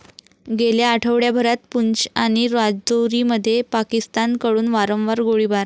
गेल्या आठवड्याभरात पूंछ आणि राजौरीमध्ये पाकिस्तानकडून वारंवार गोळीबार